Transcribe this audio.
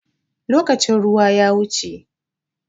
Lokacin ruwa ya wuce.